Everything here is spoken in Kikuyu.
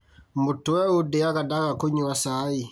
Mũtwe ũndĩaga ndaga kũnyua cai